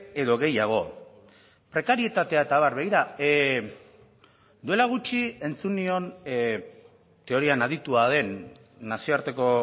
edo gehiago prekarietatea eta abar begira duela gutxi entzun nion teorian aditua den nazioarteko